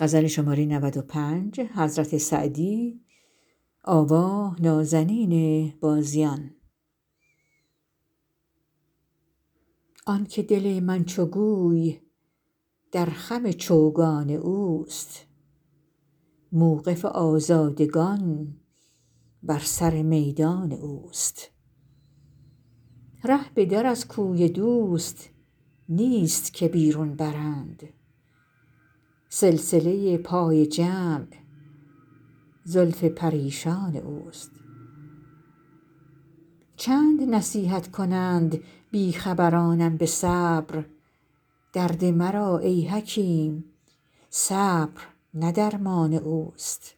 آن که دل من چو گوی در خم چوگان اوست موقف آزادگان بر سر میدان اوست ره به در از کوی دوست نیست که بیرون برند سلسله پای جمع زلف پریشان اوست چند نصیحت کنند بی خبرانم به صبر درد مرا ای حکیم صبر نه درمان اوست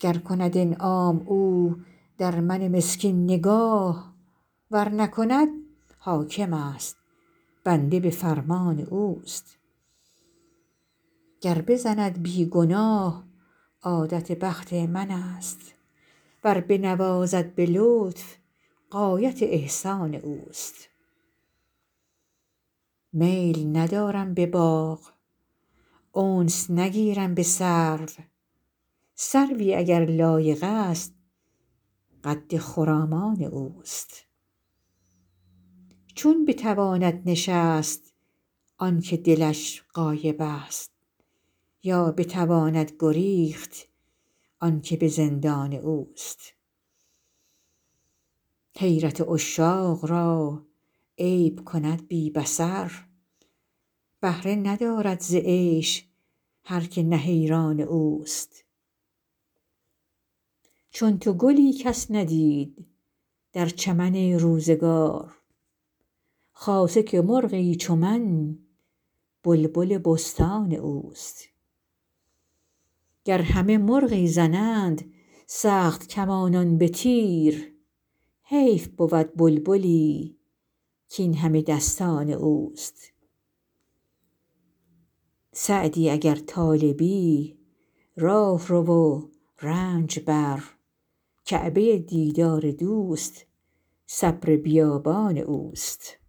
گر کند انعام او در من مسکین نگاه ور نکند حاکمست بنده به فرمان اوست گر بزند بی گناه عادت بخت منست ور بنوازد به لطف غایت احسان اوست میل ندارم به باغ انس نگیرم به سرو سروی اگر لایقست قد خرامان اوست چون بتواند نشست آن که دلش غایبست یا بتواند گریخت آن که به زندان اوست حیرت عشاق را عیب کند بی بصر بهره ندارد ز عیش هر که نه حیران اوست چون تو گلی کس ندید در چمن روزگار خاصه که مرغی چو من بلبل بستان اوست گر همه مرغی زنند سخت کمانان به تیر حیف بود بلبلی کاین همه دستان اوست سعدی اگر طالبی راه رو و رنج بر کعبه دیدار دوست صبر بیابان اوست